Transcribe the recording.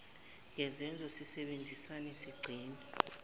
ngezenzo sisebenzisane sigcine